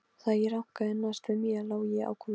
Þegar ég rankaði næst við mér lá ég á gólfinu.